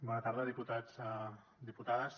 bona tarda diputats i diputades